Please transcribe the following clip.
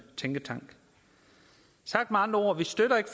tænketank sagt med andre ord vi støtter ikke